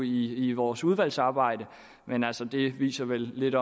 i i vores udvalgsarbejde men altså det viser vel lidt